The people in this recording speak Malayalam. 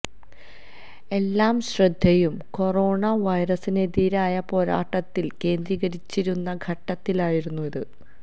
എല്ലാ ശ്രദ്ധയും കൊറോണ വൈറസിനെതിരായ പോരാട്ടത്തിൽ കേന്ദ്രീകരിച്ചിരുന്ന ഘട്ടത്തിലായിരുന്നു ഇത്